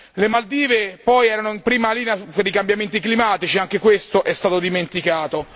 Le Maldive poi erano in prima linea per i cambiamenti climatici, anche questo è stato dimenticato.